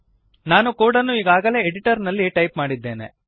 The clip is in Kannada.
ನಾನು ಕೋಡನ್ನು ಈಗಾಗಲೇ ಎಡಿಟರ್ನಲ್ಲಿ ಟೈಪ್ ಮಾಡಿದ್ದೇನೆ